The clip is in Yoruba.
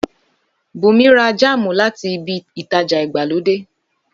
Bùnmi ra jámù láti ibi ìtajà ìgbàlódé.